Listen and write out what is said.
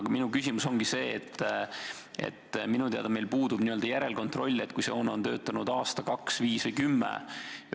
Aga minu küsimus ongi see, et minu teada meil puudub n-ö järelkontroll, kui see hoone on töötanud aasta, kaks, viis või kümme aastat.